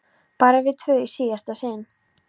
Bara við tvö í síðasta sinn.